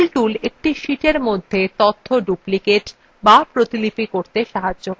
fill tool একটি sheetএর মধ্যে তথ্য duplicate the প্রতিলিপি করতে সাহায্য করে